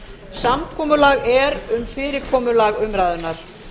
samkomulag er um fyrirkomulag umræðunnar